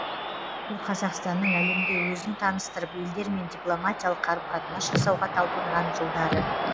бұл қазақстанның әлемге өзін таныстырып елдермен дипломатиялық қарым қатынас жасауға талпынған жылдары